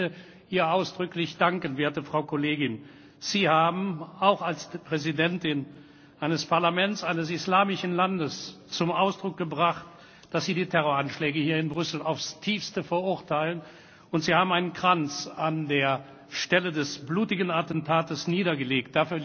Ich möchte Ihnen, werte Frau Kollegin, ausdrücklich danken. Sie haben auch als Präsidentin eines Parlaments eines islamischen Landes zum Ausdruck gebracht, dass Sie die Terroranschläge hier in Brüssel aufs Tiefste verurteilen, und Sie haben einen Kranz an der Stelle des blutigen Attentats niedergelegt.